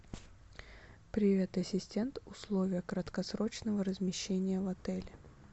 привет ассистент условия краткосрочного размещения в отеле